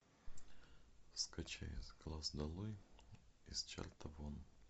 скачай с глаз долой из чарта вон